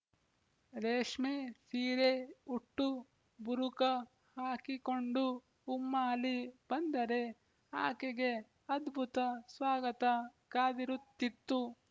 ರೇಶ್ಮೆ ಸೀರೆ ಉಟ್ಟು ಬುರುಕ ಹಾಕಿಕೊಂಡು ಉಮ್ಮಾಲಿ ಬಂದರೆ ಆಕೆಗೆ ಅದ್ಭುತ ಸ್ವಾಗತ ಕಾದಿರುತ್ತಿತ್ತು